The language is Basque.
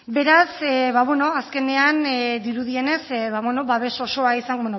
beraz ba bueno azkenean dirudienez babes osoa bueno